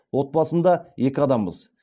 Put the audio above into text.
отбасында екі адамбыз